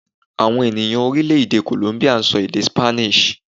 Àwọn ènìyàn Orílèdè 'Kòlómbíà' n sọ èdè 'Spanish'